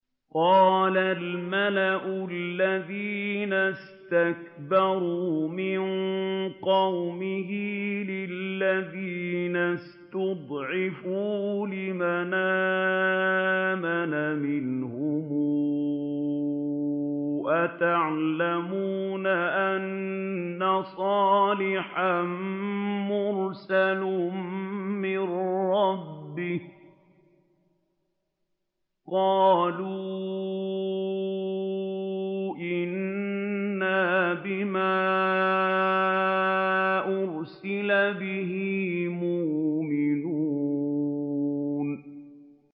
قَالَ الْمَلَأُ الَّذِينَ اسْتَكْبَرُوا مِن قَوْمِهِ لِلَّذِينَ اسْتُضْعِفُوا لِمَنْ آمَنَ مِنْهُمْ أَتَعْلَمُونَ أَنَّ صَالِحًا مُّرْسَلٌ مِّن رَّبِّهِ ۚ قَالُوا إِنَّا بِمَا أُرْسِلَ بِهِ مُؤْمِنُونَ